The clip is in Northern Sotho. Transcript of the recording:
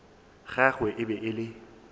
gagwe e be e le